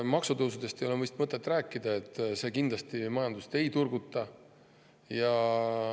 Maksutõusudest ei ole vist mõtet rääkida, need kindlasti majandust ei turguta.